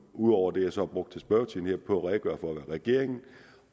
ud over det jeg så har brugt i spørgetiden på at redegøre for hvad regeringen